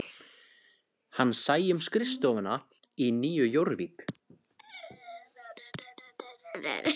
Hann sæi um skrifstofuna í Nýju Jórvík